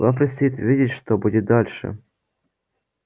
вам предстоит увидеть что будет дальше